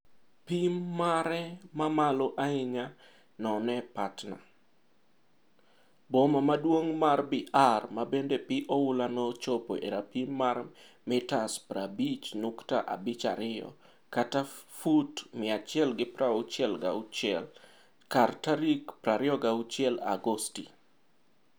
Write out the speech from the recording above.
Pim mare mamalo ahinya none Patna, boma maduong' mar Bihar mabende pi oula no nochopo e rapim mar 50.52m (166ft) kar tarik 26 Agosti.